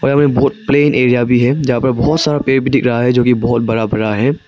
में बहुत plain area भी है जहां पर बहुत सारा पेड़ दिख रहा है जोकि बहुत बड़ा बड़ा है।